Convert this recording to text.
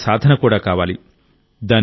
ఇది మన సాధన కూడా కావాలి